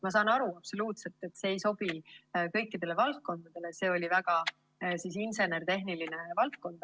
Ma saan aru, absoluutselt, et see ei sobi kõikidele valdkondadele, see oli insener-tehniline valdkond.